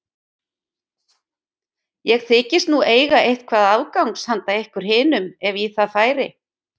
Ég þykist nú eiga eitthvað afgangs hana ykkur hinum ef í það færi.